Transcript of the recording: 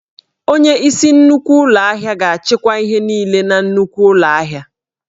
Onyeisi nnukwu ụlọ ahịa ga-achịkwa ihe niile na nnukwu ụlọ ahịa